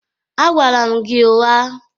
Agwara m gị ụgha